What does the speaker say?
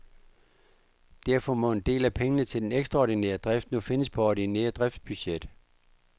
Derfor må en del af pengene til den ekstraordinære drift nu findes på det ordinære driftsbudget.